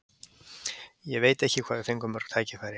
Ég veit ekki hvað við fengum mörg tækifæri.